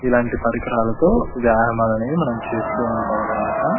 ఇలాంటి పరికరాలతో వ్యాయామాలని మనం చేస్తుంటాం అనమాట.